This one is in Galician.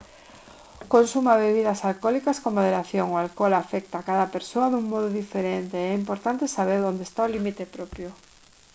consuma bebidas alcohólicas con moderación o alcohol afecta a cada persoa dun modo diferente e é importante saber onde está o límite propio